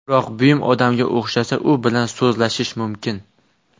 Biroq buyum odamga o‘xshasa, u bilan so‘zlashish mumkin.